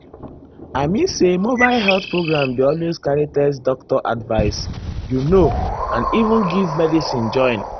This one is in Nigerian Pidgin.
i mean say mobile health program dey always carry test doctor advice you know and even give medicine join.